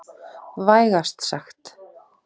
Vægast sagt.